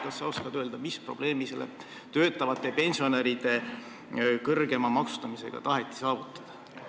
Kas sa oskad öelda, mis probleemi töötavate pensionäride kõrgema maksustamisega taheti lahendada?